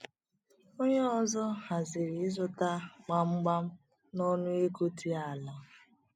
Onye ọzọ haziri ịzụta gbamgbam n’ọnụ ego dị ala.